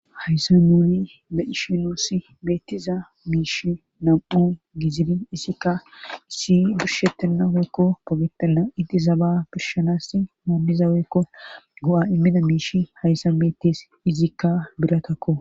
Hayssan nuni beishinuuss beettiza miish nam7u gizilin issikka issi durshetinna heykko pogetalna idizaba birshanassi moommiza weykko go7a immida miishi hayssan beettes izikka biratakko